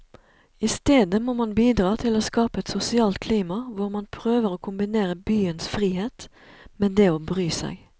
I stedet må man bidra til å skape et sosialt klima hvor man prøver å kombinere byens frihet med det å bry seg.